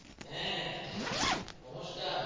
হ্যা নমস্কান